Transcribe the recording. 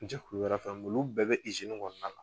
Jɛkulu wɛrɛ fɛn olu bɛɛ bɛ kɔnɔna la.